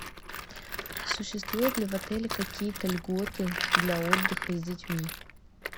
существуют ли в отеле какие то льготы для отдыха с детьми